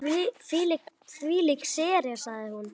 Þvílík sería sagði hún.